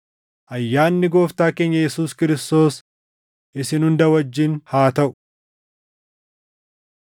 Ayyaanni Gooftaa keenya Yesuus Kiristoos isin hunda wajjin haa taʼu.